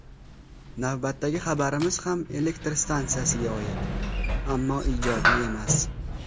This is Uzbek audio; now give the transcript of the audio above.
Navbatdagi xabarimiz ham elektr stansiyasiga oid, ammo ijobiy emas.